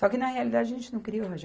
Só que, na realidade, a gente não queria o